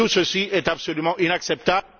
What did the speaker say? Tout ceci est absolument inacceptable...